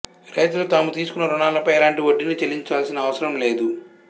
రైతులు తాము తీసుకున్న రుణాలపై ఎలాంటి వడ్డీని చెల్లించాల్సిన అవసరం లేదు